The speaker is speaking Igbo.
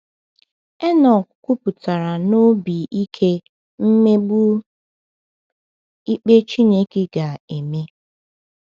Enọk kwupụtara na obi ike mmegbu ikpe Chineke ga-eme.